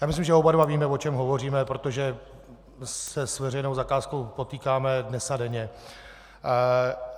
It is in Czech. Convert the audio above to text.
Já myslím, že oba dva víme, o čem hovoříme, protože se s veřejnou zakázkou potýkáme dnes a denně.